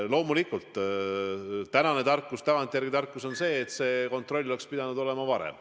Loomulikult on tänane tarkus, tagantjärele tarkus see, et kontroll oleks pidanud toimuma varem.